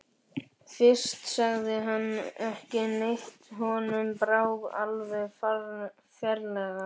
Fyrst sagði hann ekki neitt, honum brá alveg ferlega.